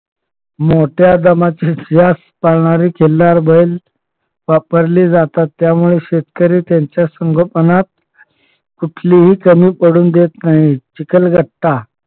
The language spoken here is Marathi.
मोठ्या जमातीचे यास पळणारे खिल्लार बैल वापरले जातात त्यामुळे शेतकरी त्यांच्या संगोपनात कुठली कमी पडून देत नाही चिखल बट्टा